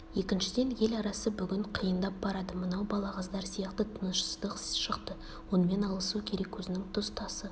екіншіден ел арасы бүгін қиындап барады мынау балағаздар сияқты тынышсыздық шықты онымен алысу керек өзінің тұс-тасы